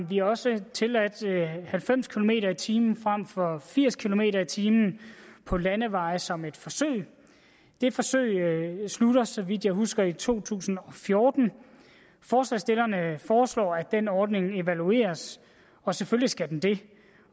vi også tilladt halvfems kilometer per time frem for firs kilometer per time på landeveje som et forsøg det forsøg slutter så vidt jeg husker i to tusind og fjorten forslagsstillerne foreslår at den ordning evalueres og selvfølgelig skal den det